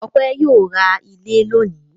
Ọpẹ́ yóò ra ilé lónìí.